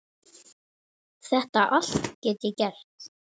Þetta allt get ég gert.